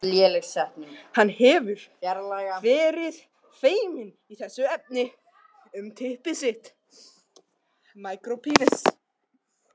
Hann hefur verið feiminn í þessum efnum.